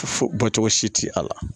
Fo bɔcogo si ti a la